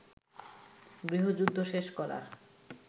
গৃহযুদ্ধ শেষ করার